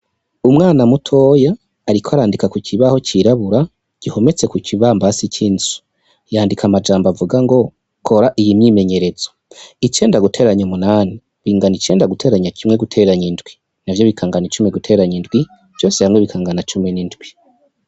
Umwana mutoya ariko arandika ku kibaho cirabura gihometse ku kibambazii c'inzu yandika amajambo avuga ngo kora iyi myimenyerezo icenda guteranya umunani bingana icenda guteranya kimwe guteranya indwi navyo bikangana icumi guteranya indwi vyose hamwe bikangana cumi n'indwi.